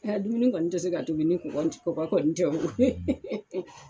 Ɛ ya dumuni kɔni tɛ se ka tobi ni kɔgɔ kɔni tɛ o.